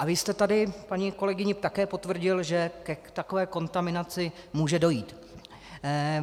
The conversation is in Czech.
A vy jste tady paní kolegyni také potvrdil, že k takové kontaminaci může dojít.